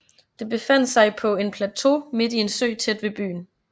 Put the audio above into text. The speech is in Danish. Det befandt sig på en plateau midt i en sø tæt ved byen